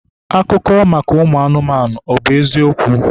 Akụkọ maka ụmụ anụmanụ, ọ bụ eziokwu?